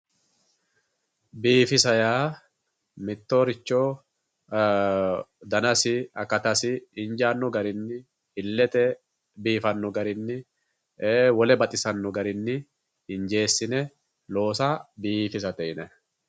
Biifisa yaa mittoricho dannasi akatasi injano garinni ilete biifano garinni wole baxisano garinni injesine loossa biifissate yinnanni.